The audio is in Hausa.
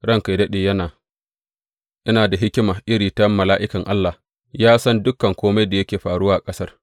Ranka yă daɗe yana da hikima iri ta mala’ikan Allah, ya san dukan kome da yake faruwa a ƙasar.